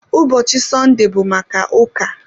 Ụbọchị Sọnde bụ maka ụka